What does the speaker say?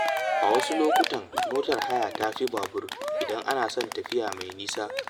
A wasu lokutan, motar haya tafi babur idan ana son tafiya mai nisa.